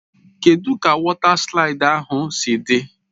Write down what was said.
Kedụ ka wọta slaịdị ahụ si dị?